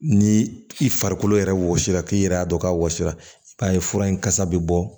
Ni i farikolo yɛrɛ wɔsi la k'i yɛrɛ y'a dɔn k'a wɔsira i b'a ye fura in kasa bɛ bɔ